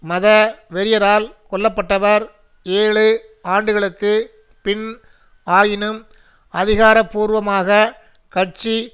மத வெறியரால் கொல்லப்பட்டவர் ஏழு ஆண்டுகளுக்கு பின் ஆயினும் அதிகாரபூர்வமாக கட்சி